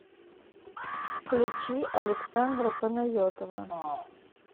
включи александра панайотова